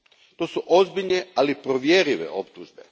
To su ozbiljne, ali provjerive optužbe.